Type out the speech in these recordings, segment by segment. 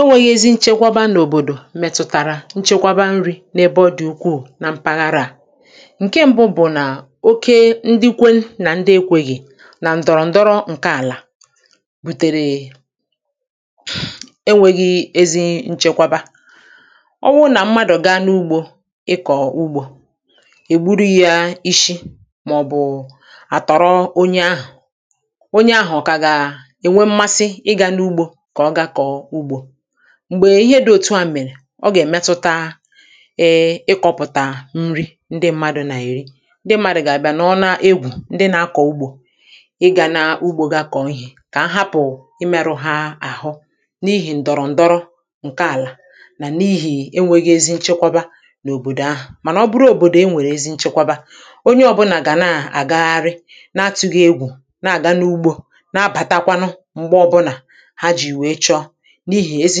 enwėghi̇ ezi nchekwaba na òbòdò mètụ̀tàrà nchekwaba nri̇ n’ebe ọ dị̀ ukwuù na mpaghara à ǹke ṁbụ̇ bụ̀ nà oke ndịkwe nà ndị ekwėghi̇ nà ǹdọrọ̀ ǹdọrọ ǹke àlà bùtèrè enwėghi̇ ezi nchekwaba ọ wụ nà mmadụ̀ gaa n’ugbȯ ịkọ̀ ugbȯ è gburu yȧ ishi mà ọ̀ bụ̀ à tọ̀rọ onye ahụ̀ onye ahụ̀ kà gà ènwe mmasị m̀gbè ihe dị̇ òtu à m̀mèrè ọ gà-èmetuta ịkọ̇pụ̀tà nri ndị mmadụ̇ nà-èri ndị mmadụ̇ gà-àbịa nà ọ na-egwù ndị nȧ-akọ̀ ugbȯ ịgȧ n’ugbȯ ga kọ̀ọ ihė kà a hapụ̀ ị merụ̇ ha àhụ n’ihì ǹdọ̀rọ̀ ǹdọrọ ǹke àlà nà n’ihì enwėghi̇ ezi n’òbòdò ahụ̀ mànà ọ bụrụ òbòdò e nwèrè ezi nchekwaba onye ọbụlà gà na-àgagharị na-atụ̇ghị̇ egwù na-àga n’ugbȯ na-abàtakwanụ n’ihi ezi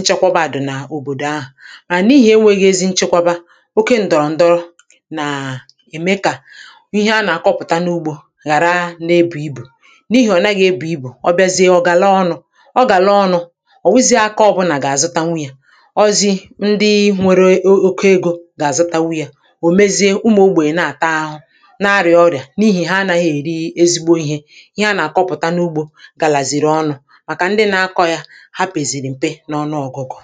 nchekwaba àdụ̀ nà òbòdò ahụ̀ mà n’ihi enweghi ezi nchekwaba oke ǹdọ̀rọ̀ ǹdọrọ nà ème kà ihe a nà-akọpụta n’ugbȯ ghàra na-ebù ibù n’ihì ọ̀ nàghị̇ ebù ibù ọ bịazie ọ̀ gàla ọnụ̇ ọ gàla ọnụ̇ ọ̀ wụzie akaọbụ nà gà-àzụtanwụ yȧ ọzi ndị nwere oke ego gà-àzụtanwụ yȧ ò mezie ụmụ̀ ogbè na-àta ahụ̇ nȧ-arịà ọrịà n’ihi ha anaghị èri ezigbo ihe ihe a nà-àkọpụ̀ta n’ugbȯ gàlàzìrì ọnụ̇ ha pẹ̀zìrì m te n’ọnụ ọ̀gụgụ̀